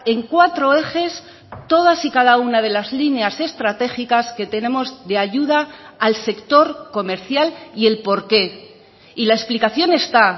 en cuatro ejes todas y cada una de las líneas estratégicas que tenemos de ayuda al sector comercial y el por qué y la explicación está